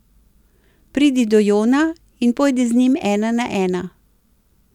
Pridi do Jona in pojdi z njim ena na ena.